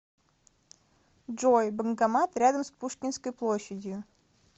джой банкомат рядом с пушкинской площадью